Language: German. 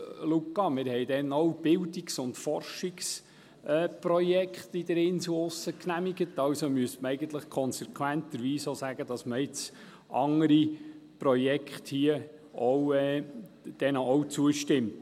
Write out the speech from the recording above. Luca, wir haben damals auch Bildungs- und Forschungsprojekte in der Insel genehmigt, also müsste man eigentlich konsequenterweise auch sagen, dass man jetzt anderen Projekten auch zustimmt.